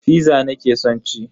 Fiza nake son ci.